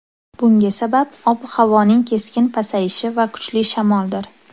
Bunga sabab ob-havoning keskin pasayishi va kuchli shamoldir.